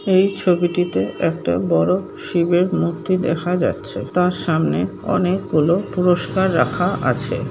এই ছবিটিতে একটা বড় শিবের মূর্তি দেখা যাচ্ছে তার সামনে অনেকগুলো পুরস্কার রাখা আছে